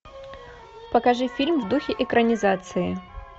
покажи фильм в духе экранизации